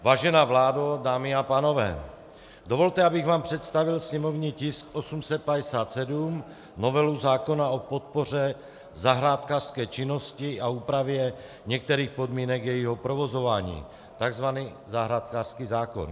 Vážená vládo, dámy a pánové, dovolte, abych vám představil sněmovní tisk 857, novelu zákona o podpoře zahrádkářské činnosti a úpravě některých podmínek jejího provozování, takzvaný zahrádkářský zákon.